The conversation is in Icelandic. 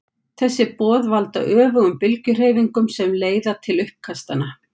Þessi boð valda öfugum bylgjuhreyfingunum sem leiða til uppkastanna.